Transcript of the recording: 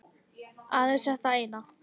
Aðeins þetta eina